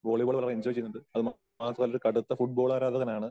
Volleyball നല്ലോം enjoy ചെയ്യുന്നുണ്ട്. അത് മാത്രമല്ല ഒരു കടുത്ത ഫുടബോൾ ആരാധകനാണ്.